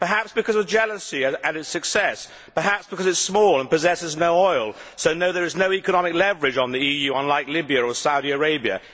Perhaps because of jealousy at its success, perhaps because it is small and possesses no oil, so, no, there is no economic leverage on the EU, unlike Libya or Saudi Arabia.